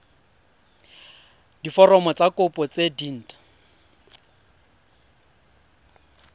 diforomo tsa kopo tse dint